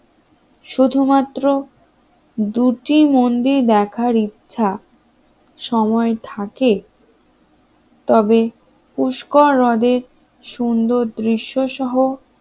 শুধুমাত্র দুটি মন্দির দেখার ইচ্ছা সময় থাকে তবে পুষ্কর হ্রদে সুন্দর দৃশ্য সহ